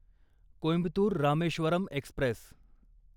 Coimbatore Rameswaram Express